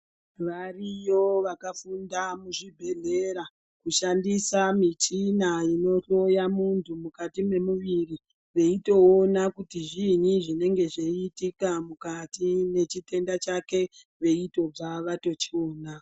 Variyo vakafunda muzvibhehlera kushandisa michina inohloya muntu mukati memuviri veitoona kuti zviinyi zvinenge zveiitika mukati mwechitenda chake veitobva vatochiona.